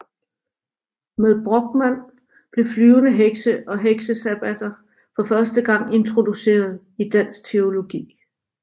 Med Brochmand blev flyvende hekse og heksesabbater for første gang introduceret i dansk teologi